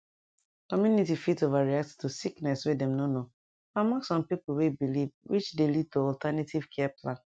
community fit overreact to sickness way dem no know for among some pipo way believe which dey lead to alternative care plan